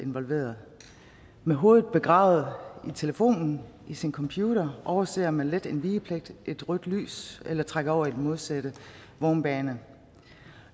involveret med hovedet begravet i telefonen i sin computer overser man let en vigepligt et rødt lys eller trækker over i den modsatte vognbane